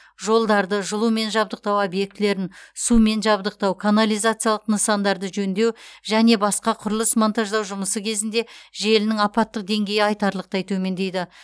жолдарды жылумен жабдықтау объектілерін сумен жабдықтау канализациялық нысандарды жөндеу және басқа құрылыс монтаждау жұмысы кезінде желінің апаттық деңгейі айтарлықтай төмендейді